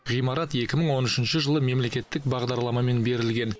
ғимарат екі мың он үшінші жылы мемлекеттік бағдарламамен берілген